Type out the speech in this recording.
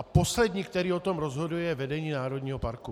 A poslední, kdo o tom rozhoduje, je vedení národního parku.